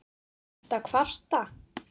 Ertu að kvarta?